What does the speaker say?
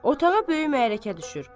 Otağa böyük hay-küy düşür.